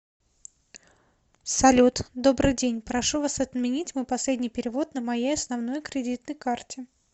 салют добрый день прошу вас отменить мой последний перевод на моей основной кредитной карте